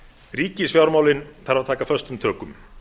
ríkisfjármálin þarf að taka föstum tökum